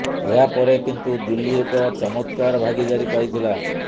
ଏହା ପରେ କିନ୍ତୁ ଦିଲ୍ଲୀ ଏକ ଚମତ୍କାର ଭାଗୀଦାରି ପାଇଥିଲା